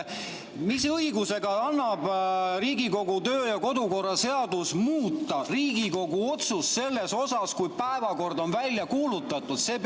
Mis õigusega laseb Riigikogu töö- ja kodukorra seadus muuta Riigikogu otsust siis, kui päevakord on välja kuulutatud?